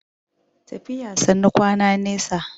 tafiya sannu kwana nesa